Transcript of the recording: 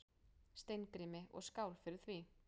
Steingrími, og skál fyrir því!